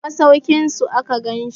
daga masaukinsu aka gansi